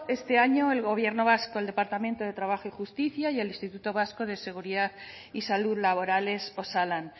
este año el gobierno vasco el departamento de trabajo y justicia y el instituto vasco de seguridad y salud laborales osalan